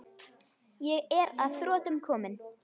Ég er að þrotum kominn.